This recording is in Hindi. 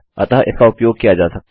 अतः इसका उपयोग किया जा सकता है